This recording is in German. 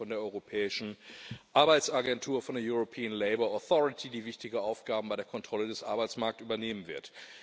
Ich spreche von der Europäischen Arbeitsagentur, von der European Labour Authority, die wichtige Aufgaben bei der Kontrolle des Arbeitsmarkts übernehmen wird.